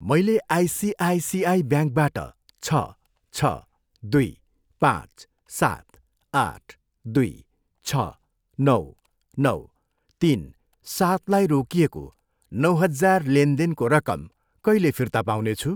मैले आइसिआइसिआई ब्याङ्कबाट छ, छ, दुई, पाँच, सात, आठ, दुई, छ, नौ, नौ, तिन, सातलाई रोकिएको नौ हजार देनदेनको रकम कहिले फिर्ता पाउनेछु?